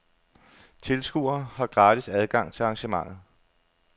Tilskuere har gratis adgang til arrangementet.